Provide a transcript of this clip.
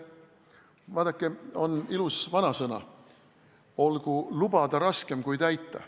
Vaadake, on ilus vanasõna "Olgu lubada raskem kui täita".